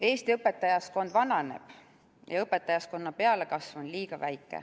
Eesti õpetajaskond vananeb ja õpetajaskonna pealekasv on liiga väike.